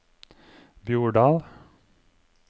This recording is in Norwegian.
Bjordal